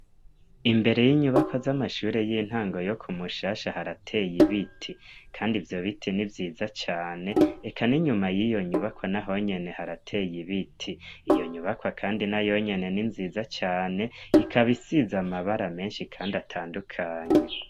Imbere y'inyubakwa z'amashure y'intango yo ku mushasha harateye ibiti, kandi ivyo biti ni vyiza cane eka n'inyuma y'iyo nyubako na honyene harateye ibiti iyo nyubakwa kandi na yonyene ni nziza cane ikabisiza amabara menshi, kandi atandukanye.